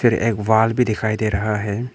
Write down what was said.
एक वॉल भी दिखाई दे रहा है।